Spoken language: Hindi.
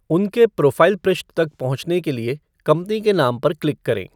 उनके प्रोफ़ाइल पृष्ठ तक पहुंचने के लिए कंपनी के नाम पर क्लिक करें।